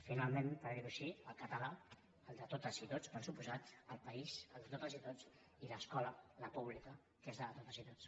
finalment per dir ho així el català el de totes i tots per descomptat el país el de totes i tots i l’escola la pública que és la de totes i tots